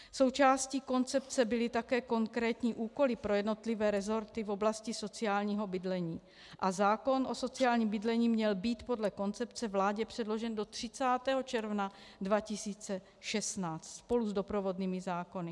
Součástí koncepce byly také konkrétní úkoly pro jednotlivé resorty v oblasti sociálního bydlení a zákon o sociálním bydlení měl být podle koncepce vládě předložen do 30. června 2016 spolu s doprovodnými zákony.